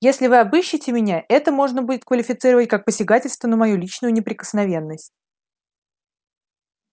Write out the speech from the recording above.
если вы обыщите меня это можно будет квалифицировать как посягательство на мою личную неприкосновенность